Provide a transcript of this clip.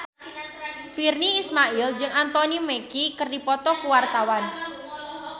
Virnie Ismail jeung Anthony Mackie keur dipoto ku wartawan